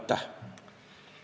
Aitäh!